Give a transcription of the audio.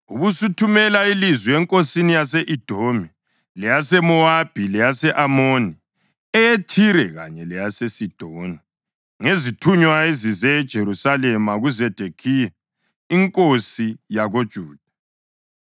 Ubusuthumela ilizwi enkosini yase-Edomi, leyaseMowabi, leyase-Amoni, eyeThire kanye leyaseSidoni ngezithunywa ezize eJerusalema kuZedekhiya inkosi yakoJuda.